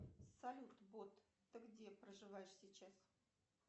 салют бот ты где проживаешь сейчас